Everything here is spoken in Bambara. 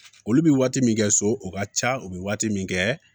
Olu bɛ waati min kɛ so o ka ca u bɛ waati min kɛ